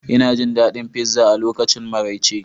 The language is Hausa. Ina jin daɗin pizza a lokacin maraice